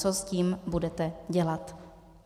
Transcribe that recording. Co s tím budete dělat?